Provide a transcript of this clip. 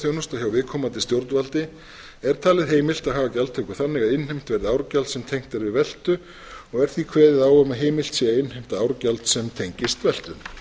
hjá viðkomandi stjórnvaldi er talið heimilt að haga gjaldtöku þannig að innheimt verði árgjald sem tengt er við veltu og er því kveðið á um að heimilt sé að innheimta árgjald sem tengist veltu